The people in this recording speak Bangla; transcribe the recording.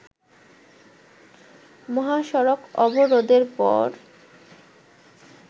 মহাসড়ক অবরোধের পর